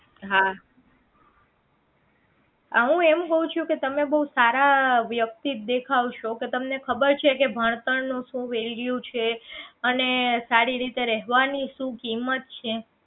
હા આ હું એમ કહું છું કે તમે બહુ સારા વ્યક્તિ દેખાવ છે તો તમને ખબર છે કે ભણતર નો શું value છે અને સારી રીતે રહેવાની શું કિંમત છે